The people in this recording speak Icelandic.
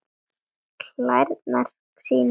Klærnar sýnir Góa.